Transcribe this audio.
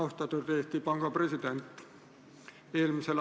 Austatud Eesti Panga president!